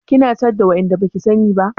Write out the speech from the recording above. Kina catin da waɗanda baki sani ba?